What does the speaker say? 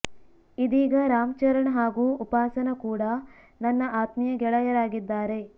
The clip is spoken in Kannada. ಇದೀಗ ರಾಮ್ ಚರಣ್ ಹಾಗೂ ಉಪಾಸನ ಕೂಡ ನನ್ನ ಆತ್ಮೀಯ ಗೆಳೆಯರಾಗಿದ್ದಾರೆ